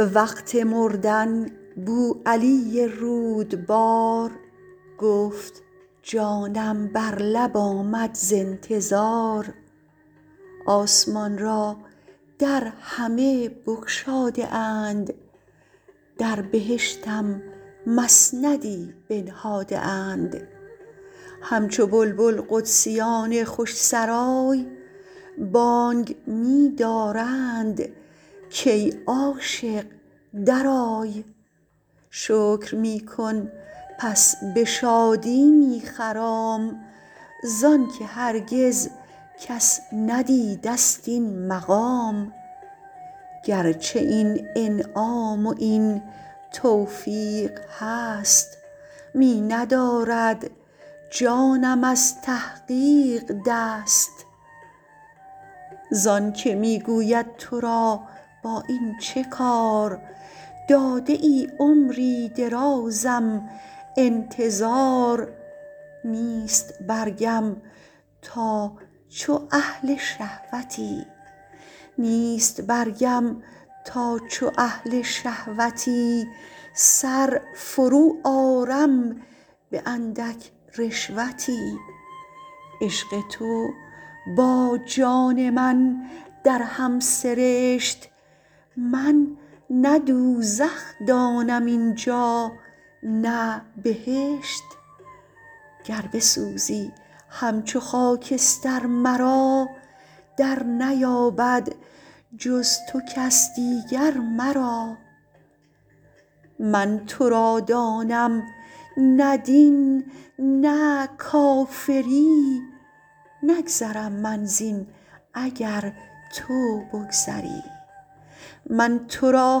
وقت مردن بوعلی رودبار گفت جانم بر لب آمد ز انتظار آسمان را در همه بگشاده اند در بهشتم مسندی بنهاده اند همچو بلبل قدسیان خوش سرای بانگ می دارند کای عاشق درآی شکر می کن پس به شادی می خرام زانک هرگز کس ندیدست این مقام گرچه این انعام و این توفیق هست می ندارد جانم از تحقیق دست زانک می گوید ترا با این چه کار داده ای عمری درازم انتظار نیست برگم تا چو اهل شهوتی سر فرو آرم به اندک رشوتی عشق تو با جان من در هم سرشت من نه دوزخ دانم اینجا نه بهشت گر بسوزی همچو خاکستر مرا در نیابد جز تو کس دیگر مرا من ترادانم نه دین نه کافری نگذرم من زین اگر تو بگذری من ترا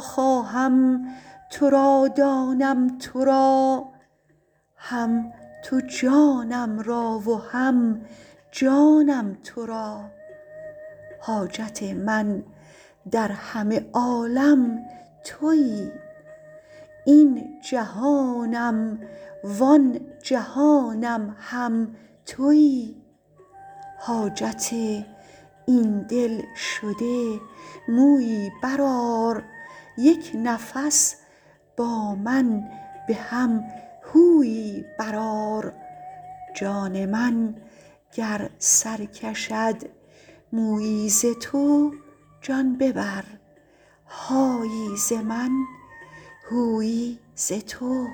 خواهم ترا دانم ترا هم تو جانم را و هم جانم ترا حاجت من در همه عالم تویی این جهانم و آن جهانم هم تویی حاجت این دل شده مویی برآر یک نفس با من به هم هویی برآر جان من گر سرکشد مویی ز تو جان ببر هایی ز من هویی ز تو